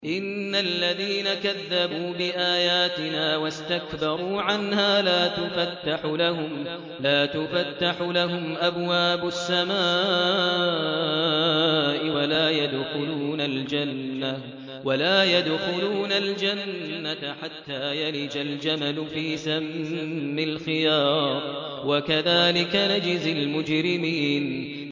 إِنَّ الَّذِينَ كَذَّبُوا بِآيَاتِنَا وَاسْتَكْبَرُوا عَنْهَا لَا تُفَتَّحُ لَهُمْ أَبْوَابُ السَّمَاءِ وَلَا يَدْخُلُونَ الْجَنَّةَ حَتَّىٰ يَلِجَ الْجَمَلُ فِي سَمِّ الْخِيَاطِ ۚ وَكَذَٰلِكَ نَجْزِي الْمُجْرِمِينَ